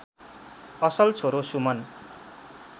असल छोरो सुमन